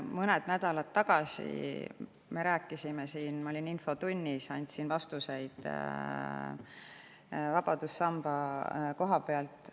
Mõned nädalad tagasi me rääkisime siin sellest, kui ma olin infotunnis ja andsin vastuseid vabadussamba koha pealt.